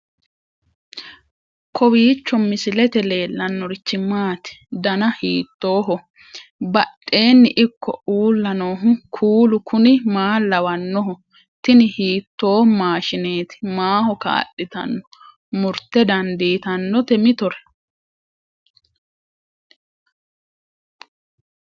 kowiicho misilete leellanorichi maati ? dana hiittooho ?badhhenni ikko uulla noohu kuulu kuni maa lawannoho? tini hiitoo maashshineeti maaho kaa'litanno murte dandiitannote mitore